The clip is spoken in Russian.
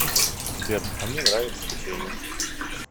сбер а мне нравится печенье